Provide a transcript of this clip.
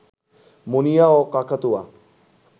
মুনিয়া ও কাকাতুয়া